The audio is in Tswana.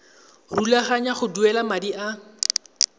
rulaganya go duela madi a